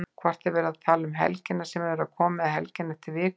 Hvort er verið að tala um helgina sem er að koma eða helgina eftir viku?